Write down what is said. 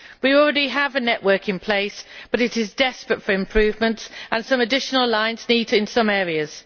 We already have a network in place, but it is desperately in need of improvement, and some additional lines are needed in some areas.